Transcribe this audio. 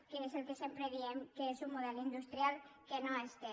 que és el que sempre diem és un model industrial que no es té